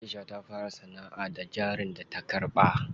Aisha ta fara sanaʼa da jarin da ta karɓa.